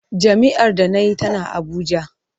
Jami’ar da na yi tana Abuja.